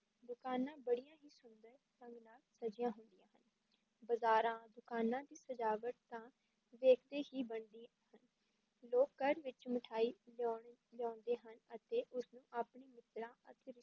ਦੁਕਾਨਾਂ ਬੜੀਆਂ ਹੀ ਸੁੰਦਰ ਢੰਗ ਨਾਲ ਸਜੀਆਂ ਹੁੰਦੀਆਂ ਹਨ, ਬਾਜ਼ਾਰਾਂ ਦੁਕਾਨਾਂ ਦੀ ਸਜਾਵਟ ਤਾਂ ਦੇਖਦੇ ਹੀ ਬਣਦੀ ਹਨ, ਲੋਕ ਘਰ ਵਿੱਚ ਮਠਿਆਈ ਲਿਆਉਣ ਲਿਆਉਂਦੇ ਹਨ ਅਤੇ ਉਸਨੂੰ ਆਪਣੇ ਮਿੱਤਰਾਂ ਅਤੇ